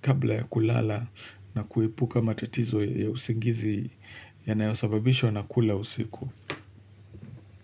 kabla ya kulala na kuepuka matatizo ya usingizi yanayosababishwa na kula usiku.